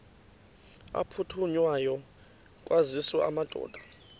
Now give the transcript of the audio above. aphuthunywayo kwaziswe amadoda